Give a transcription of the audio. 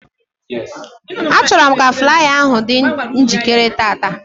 Achọrọ m ka flaya ahụ dị njikere tata